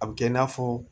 A bɛ kɛ i n'a fɔ